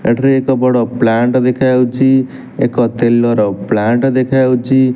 ଏକ ବଡ଼ ପ୍ଲାଣ୍ଟ ଦେଖାଯାଉଛି ଏକ ତେଲ ର ପ୍ଲାଣ୍ଟ ଦେଖା ଯାଉଛି।